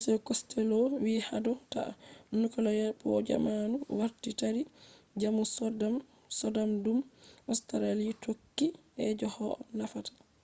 mr costello vi hado ta nuclear power jammanu warti taddi jamanu sodadum australia tokki je koh nafata